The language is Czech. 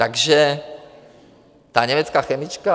Takže ta německá chemička...